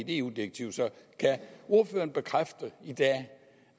eu direktiv så kan ordføreren bekræfte i dag